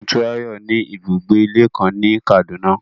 Motunrayo ni ibugbe-ìlé kan ni Kaduna